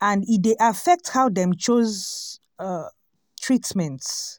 and e dey affect how dem chose um treatment.